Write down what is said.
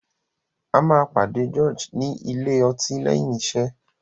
A má George ní Ilé-ọtí léyìn iṣé.